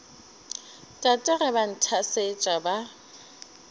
tate ge ba nthasetša ba